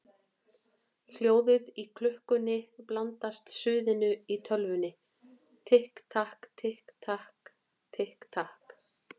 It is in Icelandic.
Hljóðið í klukkunni blandast suðinu í tölvunni: Tikk takk, tikk takk, tikk takk.